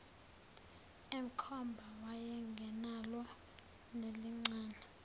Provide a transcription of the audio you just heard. emkhomba wayengenalo nelincane